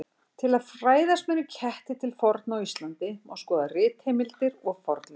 Til að fræðast meira um ketti til forna á Íslandi má skoða ritheimildir og fornleifar.